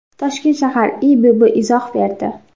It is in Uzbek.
Toshkent shahar IIBB izoh berdi.